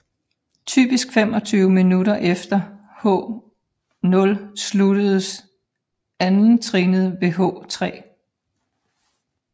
Typisk 25 minutter efter H0 slukkes andettrinnet ved H3